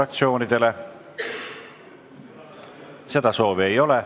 Kõnesoove ei ole.